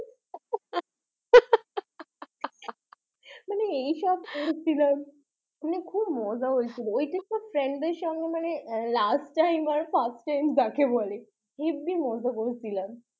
এইসব করছিলাম খুব মজা হয়েছিল। এইসব মানে friends সাথে last time and first time যাকে বলে হেব্বি মজা করেছিলাম